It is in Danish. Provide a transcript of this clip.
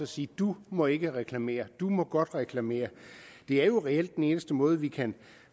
sige du må ikke reklamere du må godt reklamere det er jo reelt den eneste måde vi kan